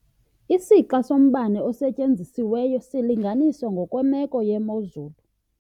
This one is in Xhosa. Isixa sombane osetyenzisiweyo silinganiswa ngokwemeko yemozulu.